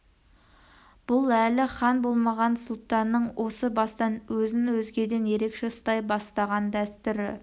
бұл әлі хан болмаған сұлтанның осы бастан өзін өзгеден ерекше ұстай бастаған дәстүрі